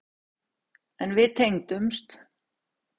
En við tengdumst.